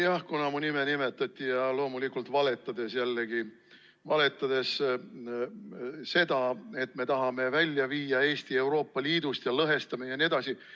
Jah, kuna mu nime nimetati ja loomulikult valetades jällegi, valetades selle kohta, et me tahame Eesti Euroopa Liidust välja viia ja lõhestame jne.